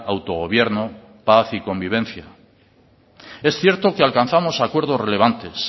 autogobierno paz y convivencia es cierto que alcanzamos acuerdos relevantes